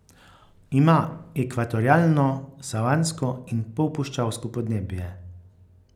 Ima ekvatorialno, savansko in polpuščavsko podnebje.